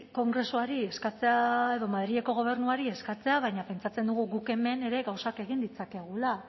kongresuari eskatzea edo madrileko gobernuari eskatzea baina pentsatzen dugu guk hemen ere gauzak egin ditzakegula